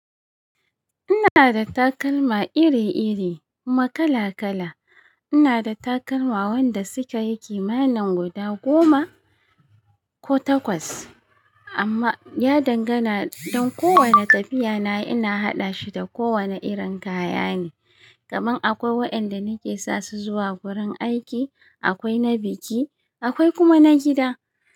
Ina da takalma iri-iri, kuma kala-kala. Ina da takalma wanda suka yi kimanin guda goma ko takwas. Amma ya dangana don kowane tafiya na, ina haɗa shi da kowane irin kaya ne. Kaman akwai waɗanda nake sa su zuwa wurin aiki, akwai na biki, akwai kuma na gida.